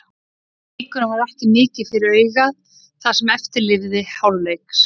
Leikurinn var ekki mikið fyrir augað það sem eftir lifði hálfleiks.